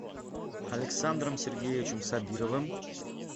александром сергеевичем сабировым